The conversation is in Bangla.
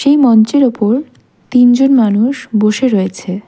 এই মঞ্চের ওপর তিনজন মানুষ বসে রয়েছে।